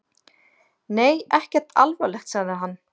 Nei, ekkert alvarlegt, sagði hann.